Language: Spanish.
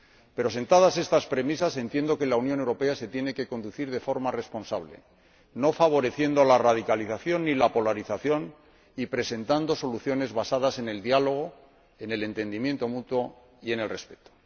Pero sentadas estas premisas, entiendo que la Unión Europea se tiene que conducir de forma responsable, no favoreciendo la radicalización ni la polarización, sino presentando soluciones basadas en el diálogo, en el entendimiento mutuo y en el respeto.